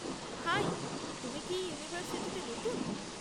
High, তুমি কি এই ইউনিভার্সিটিতে নতুন?